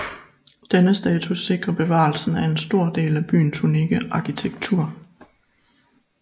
Denne status sikrer bevarelsen af en stor del af byens unikke arkitektur